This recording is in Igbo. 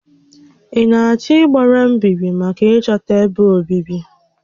Ị na-achọ ịgbara mbíbí maka ịchọta ébé obibi?